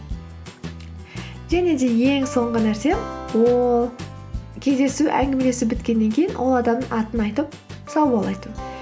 және де ең соңғы нәрсе ол кездесу әңгімелесу біткеннен кейін ол адамның атын айтып сау бол айту